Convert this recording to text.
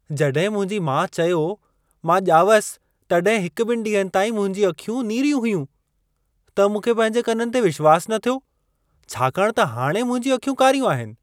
जॾहिं मुंहिंजी माउ चयो, मां ॼावसि तॾहिं हिक-ॿिनि ॾींहनि ताईं मुंहिंजियूं अखियूं नीरियूं हुयूं, त मूंखे पंहिंजे कननि ते विश्वासु न थियो, छाकाणि त हाणे मुंहिंजियूं अखियूं कारियूं आहिनि।